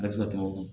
A bɛ se ka tɛmɛ o kan